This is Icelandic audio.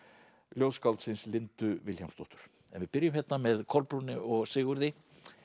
ljóðskáldsins Lindu Vilhjálmsdóttur en við byrjum hérna með Kolbrúnu og Sigurði